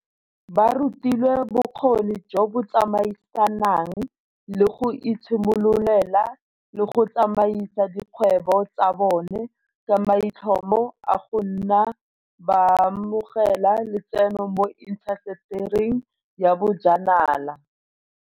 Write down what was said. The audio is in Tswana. Ba rutilwe bokgoni jo bo tsamaisanang le go itshimololela le go tsamaisa dikgwebo tsa bone, ka maitlhomo a go nna baamogela letseno mo intasetering ya bojanala.